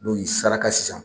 N'o y'i saraka sisan